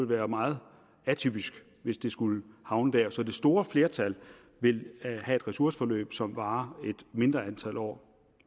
være meget atypisk hvis det skulle havne der så det store flertal vil have et ressourceforløb som varer et mindre antal år